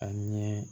A ɲɛ